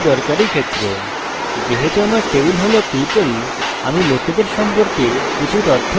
যেহেতু আমার টেবিল হল people আমি লোকেদের সম্পর্কে কিছু তথ্য রাখবো